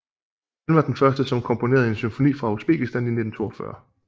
Han var den første som komponerede en symfoni fra Usbekistan i 1942